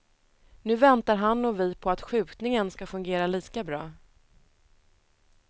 Nu väntar han och vi på att skjutningen ska fungera lika bra.